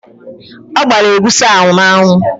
Ọ gbara egusi ahụ n'anwụ.